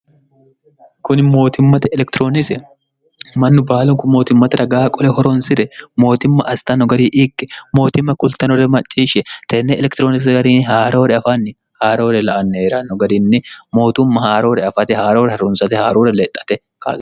kuni mootimmate elekitiroonisi mannu baalunku mootimmate ragaa qole horonsi're mootimma astanno gari ikke mootimma kultanore macciishshe tenne elekitirooni garini haaroore afanni haaroore la annheranno garinni mootumma haaroore afate haaroore hrunsate haaroore lexxate ko